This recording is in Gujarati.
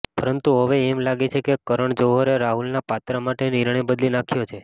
પરંતુ હવે એમ લાગે છે કે કરણ જોહરે રાહુલના પાત્ર માટે નિર્ણય બદલી નાંખ્યો છે